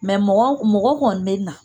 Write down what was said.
Mɛ mɔgɔ kɔni be na